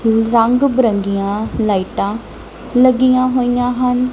ਰੰਗ ਬਿਰੰਗੀਆਂ ਲਾਈਟਾਂ ਲੱਗੀਆਂ ਹੋਈਆਂ ਹਨ।